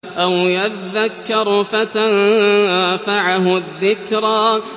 أَوْ يَذَّكَّرُ فَتَنفَعَهُ الذِّكْرَىٰ